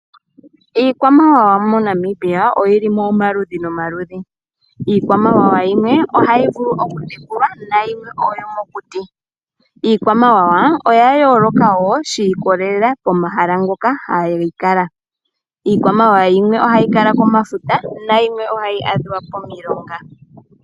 Iikwamawawa moNamibia oyi li mo omaludhi nomaludhi. Iikwamawawa yimwe ohayi vulu okutekulwa, nayimwe oyomokuti. Iikwamawawa oya yooloka wo shi ikolelela komahala ngoka hayi kala. Iikwamawawa yimwe ohayi kala komafuta, nayimwe ohayi adhika pomilonga.